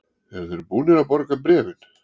Eru þeir búnir að borga bréfin?